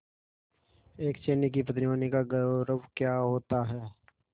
एक सैनिक की पत्नी होने का गौरव क्या होता है